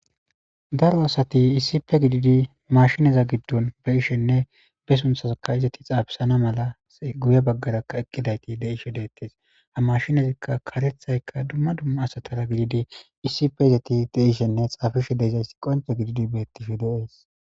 Daro asati issipe gididi mashinaza giddon be ishenne be sunthasaka izati xaabisana mala guye baggarakka eqqidayti de ishe deettes ha mashinazikka karethayka dumma dumma asatara gididi issipe izati deishenne xaafishe deizaysi qoncho gididi beettihi de7ees.